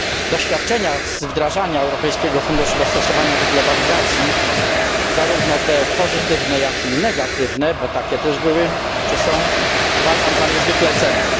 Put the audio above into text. Doświadczenia z wdrażania Europejskiego Funduszu dostosowania do Globalizacji, zarówno te pozytywne jak i te negatywne, bo takie też były czy są, uważam za niezwykle cenne.